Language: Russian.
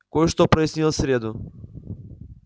кое-что прояснилось в среду